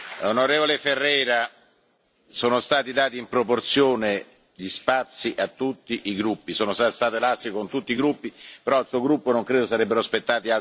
Ferreira, sono stati dati in proporzione gli spazi a tutti i gruppi, sono stato elastico con tutti i gruppi, però al Suo gruppo non credo sarebbero spettati altri interventi.